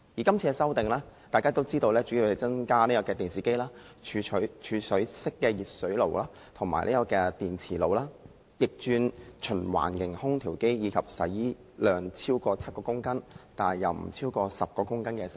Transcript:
今次的修訂主要是把電視機、儲水式電熱水器、電磁爐、逆轉循環型空調機及洗衣機納入強制性標籤計劃。